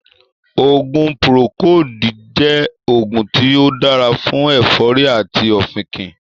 oògùn 'Procold' jẹ́ oògùn tí ó dára fún ẹ̀fọ́rì àti ọ̀fìnkìn